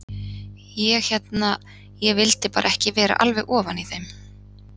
Ég hérna. ég vildi bara ekki vera alveg ofan í þeim.